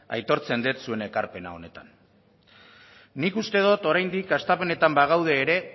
aitortzen dut zuen ekarpena honetan nik uste dut oraindik hastapenetan bagaude ere